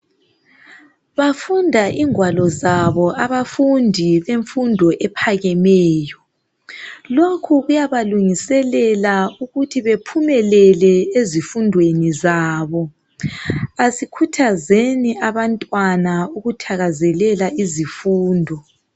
Bafunda ingwalo zabo abafundi bemfundo ephakemeyo. Lokhu kuyabalungiselela ukuthi bephumelele ezifundweni zabo. Asikhuthazeni abantwana ukuthakazelela izifundo.